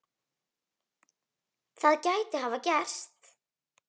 Það gæti hafa gerst.